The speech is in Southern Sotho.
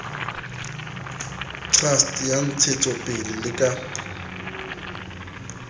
trust ya ntsahetsopele le ka